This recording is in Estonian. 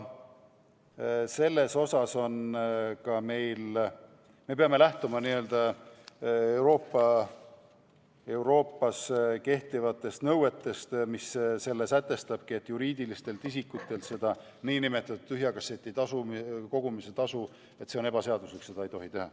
Aga me peame lähtuma Euroopas kehtivatest nõuetest, mis sätestavadki selle, et juriidilistelt isikutelt nn tühja kasseti tasu ei tohi koguda, see on ebaseaduslik, seda ei tohi teha.